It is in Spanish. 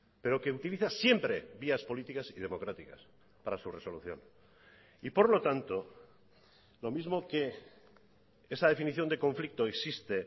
pero que utiliza siempre vías políticas y democráticas para su resolución y por lo tanto lo mismo que esa definición de conflicto existe